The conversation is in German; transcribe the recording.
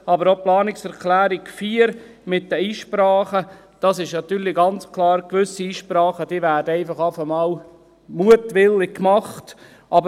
Aber auch bei der Planungserklärung 4: Bei den Einsprachen ist klar, dass gewisse einfach mutwillig gemacht werden.